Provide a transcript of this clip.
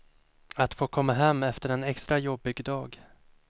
Att få komma hem efter en extra jobbig dag.